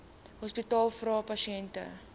hospitale vra pasiënte